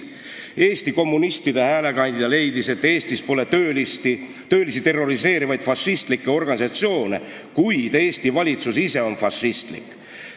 " Eesti kommunistide häälekandja leidis, et Eestis pole töölisi terroriseerivaid fašistlikke organisatsioone, kuid Eesti valitsus ise on fašistlik.